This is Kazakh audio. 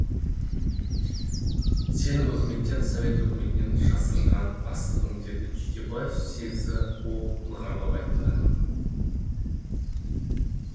сенің өкіметтен совет өкіметінен жасырған астығың деді түйтебаев сезді ол нығарлап айтты